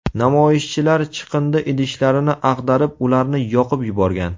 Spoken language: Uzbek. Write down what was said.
Namoyishchilar chiqindi idishlarini ag‘darib, ularni yoqib yuborgan.